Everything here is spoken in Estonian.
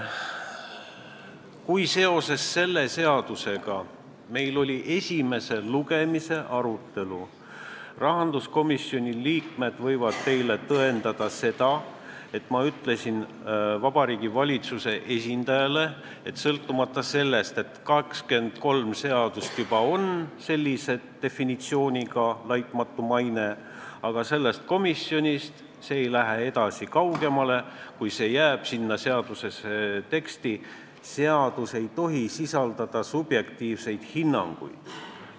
Kui meil oli selle seaduseelnõu esimese lugemise arutelu, siis ma ütlesin Vabariigi Valitsuse esindajale, et sõltumata sellest, et 23 seaduses juba on selline mõiste nagu "laitmatu maine", aga sellest komisjonist ei lähe see eelnõu edasi, kui see väljend jääb sinna teksti, sest seadus ei tohi sisaldada subjektiivseid hinnanguid.